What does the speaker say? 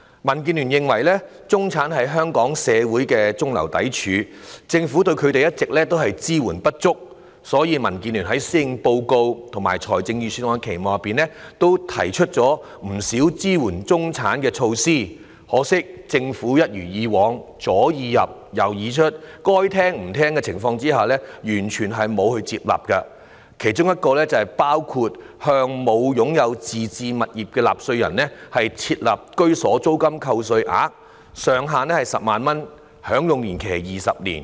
民建聯認為，中產是香港社會的中流砥柱，政府對他們一直支援不足，所以民建聯曾就施政報告和預算案提出不少支援中產的措施，可惜政府一如以往，左耳入、右耳出，該聽取的卻不聽取，完全沒有接納我們的建議，包括為沒有擁有自置物業的納稅人設立居所租金扣稅額，上限是10萬元，享用年期是20年。